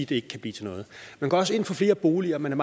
det ikke kan blive til noget man går også ind for flere boliger man er